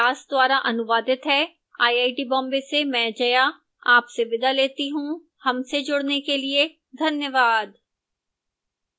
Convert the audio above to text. यह script विकास द्वारा अनुवादित है मैं जया अब आपसे विदा लेती हूँ